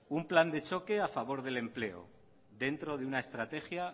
un plan de choque a favor del empleo dentro de una estrategia